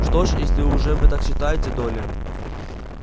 что ж если уж вы так считаете долли